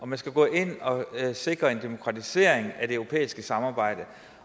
man skal gå ind og sikre en demokratisering af det europæiske samarbejde